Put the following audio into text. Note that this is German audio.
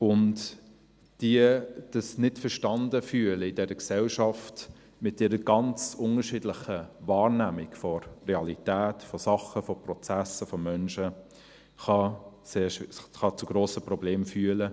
Das Sich-nicht-verstanden-Fühlen in dieser Gesellschaft, mit ihrer ganz unterschiedlichen Wahrnehmung der Realität, von Dingen, von Prozessen, von Menschen, kann sehr schwierig sein, kann zu grossen Problemen führen.